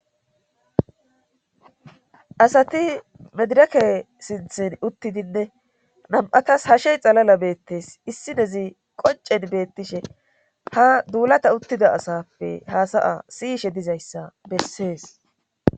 Asati medireke sinthin uttidinne nam7atas hashe xalala beettes issinezi qoncen beettishe ha duulata uttida asappe haasaya siyishe dizayssa bessees.